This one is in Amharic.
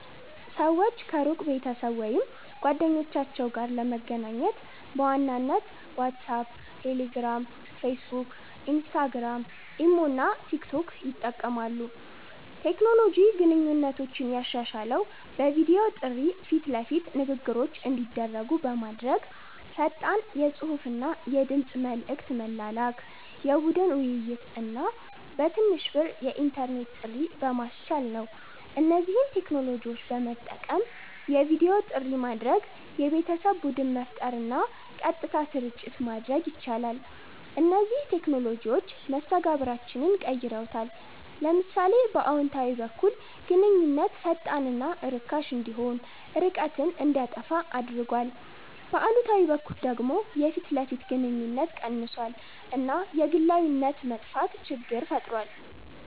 ሰዎች ከሩቅ ቤተሰብ ወይም ጓደኞቻቸው ጋር ለመገናኘት በዋናነት ዋትሳፕ፣ ቴሌግራም፣ ፌስቡክ፣ ኢንስታግራም፣ ኢሞ እና ቲክቶክ ይጠቀማሉ። ቴክኖሎጂ ግንኙነቶችን ያሻሻለው በቪዲዮ ጥሪ ፊት ለፊት ንግግሮች እንዲደረጉ በማድረግ፣ ፈጣን የጽሁፍና የድምጽ መልዕክት መላላክ፣ የቡድን ውይይት እና በትንሽ ብር የኢንተርኔት ጥሪ በማስቻል ነው። እነዚህን ቴክኖሎጂዎች በመጠቀም የቪዲዮ ጥሪ ማድረግ፣ የቤተሰብ ቡድን መፍጠር እና ቀጥታ ስርጭት ማድረግ ይቻላል። እነዚህ ቴክኖሎጂዎች መስተጋብራችንን ቀይረውታል። ለምሳሌ በአዎንታዊ በኩል ግንኙነት ፈጣንና ርካሽ እንዲሆን፣ ርቀትን እንዲያጠፋ አድርጓል፤ በአሉታዊ በኩል ደግሞ የፊት ለፊት ግንኙነት ቀንሷል እና የግላዊነት መጥፋት ችግር ፈጥሯል።